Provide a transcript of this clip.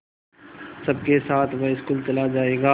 सबके साथ वह स्कूल चला जायेगा